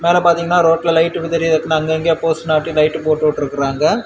மேல பார்த்தீங்கன்னா ரோட்டில லைட் ஒன்னு தெரியுது அப்படின்னா அங்கங்கே போஸ்டர்ல ஒட்டி லைட் போட்டு உட்டுறுக்காங்க.